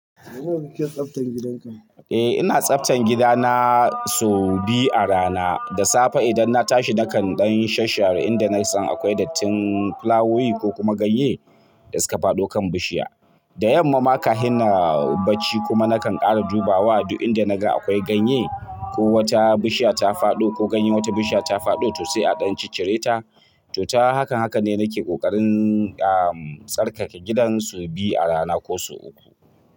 Nawa kake tsaftar gidanka? Eh ina tsaftar gidana sau biyu a rana. Da safe idan na tashi nakan ɗan shashshare inda na san akwai dattin fulawowi ko kuma ganye da suka faɗo kan bishiya. Da yamma ma kahin na bacci kuma nakan ƙara dubawa duk inda naga akwai ganye ko wata bishiya ta faɗo ko ganye wata bishiya ta faɗo toh sai a ɗan cicire ta. To ta haka haka ne nake ƙoƙarin, ah, tsarkake gidan sau biyu a rana ko sau uku.